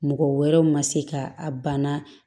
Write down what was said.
Mɔgɔ wɛrɛw ma se ka a bana